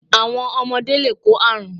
Àwọn ọmọde lè kó àrún